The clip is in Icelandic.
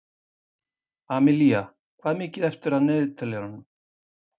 Amilía, hvað er mikið eftir af niðurteljaranum?